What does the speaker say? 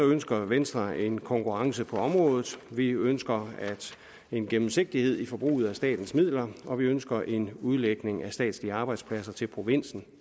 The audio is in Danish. ønsker venstre en konkurrence på området vi ønsker en gennemsigtighed i forbruget af statens midler og vi ønsker en udlægning af statslige arbejdspladser til provinsen